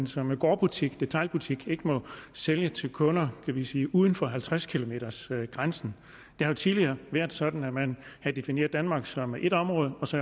som gårdbutik detailbutik ikke sælge til kunder det vil sige uden for halvtreds kilometers grænsen det har jo tidligere været sådan at man har defineret danmark som et område og så